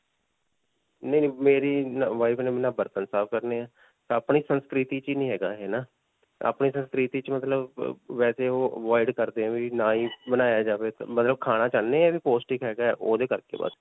ਨਹੀਂ. ਨਹੀਂ. ਮੇਰੀ wife ਨੇ ਨਾ ਬਰਤਨ ਸਾਫ਼ ਕਰਨੇ ਹੈ. ਅਪਨੀ ਸੰਸਕ੍ਰਿਤੀ 'ਚ ਹੀ ਨਹੀਂ ਹੈਗਾ ਹੈ ਨਾ. ਅਪਨੀ ਸੰਸਕ੍ਰਿਤੀ 'ਚ ਮਤਲਬ ਬਬ ਵੈਸੇ ਓਹ avoid ਕਰਦੇ ਹੈ ਵੀ ਨਾ ਹੀ ਬਣਾਇਆ ਜਾਵੇ ਮਤਲਬ ਖਾਣਾ ਚਾਹੁਨੇ ਹਾਂ ਵੀ ਪੌਸ਼ਟਿਕ ਹੈਗਾ. ਓਹਦੇ ਕਰਕੇ ਬਸ.